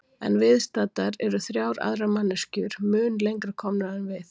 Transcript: En viðstaddar eru þrjár aðrar manneskju mun lengra komnar en við.